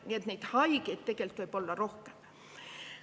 Nii et neid haigeid võib tegelikult olla rohkem.